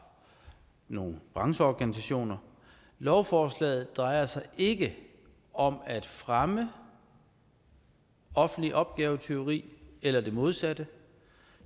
nogle brancheorganisationer lovforslaget drejer sig ikke om at fremme offentligt opgavetyveri eller det modsatte